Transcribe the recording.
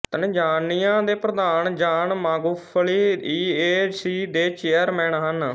Tanzania ਦੇ ਪ੍ਰਧਾਨ John Magufuli E A C ਦੇ ਚੇਅਰਮੈਨ ਹਨ